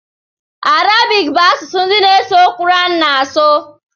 Arabic bụ asụsụ ndi n'eso Quran na asu